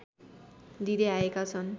दिँदै आएका छन्